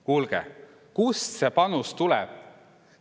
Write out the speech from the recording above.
Kuulge, kust see panus tuleb?